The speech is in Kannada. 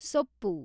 ಸೊಪ್ಪು